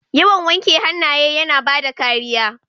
Yawan wanke hannaye yana bada kariya.